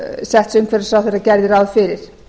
setts umhverfisráðherra gerði ráð fyrir